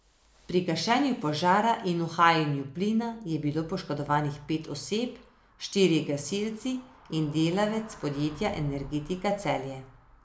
Pri gašenju požara in uhajanju plina je bilo poškodovanih pet oseb, štirje gasilci in delavec podjetja Energetika Celje.